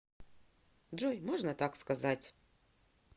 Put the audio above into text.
джой можно так сказать